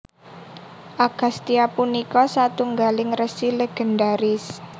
Agastya punika satunggaling resi légendharis